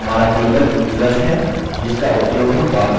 हमारा table users है जिसका उपयोग हम बाद में करेंगे